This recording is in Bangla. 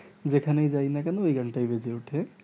যে খানেই যাই না কেনো ওই গান টাই বেজে ওঠে